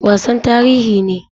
Wasan tarihi ne.